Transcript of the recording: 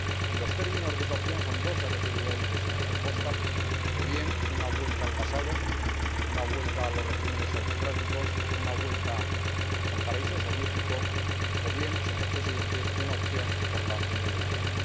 Y los términos de esa opción son dos —se ha referido a ellos el señor Verhofstadt— o bien una vuelta al pasado, una vuelta a los regímenes autocráticos, una vuelta al paraíso soviético, o bien, señor Presidente, una opción por la Unión Europea.